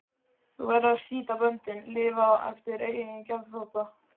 Þú verður að slíta böndin, lifa eftir eigin geðþótta.